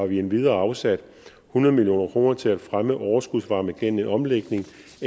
vi endvidere afsat hundrede million kroner til at fremme overskudsvarme gennem en omlægning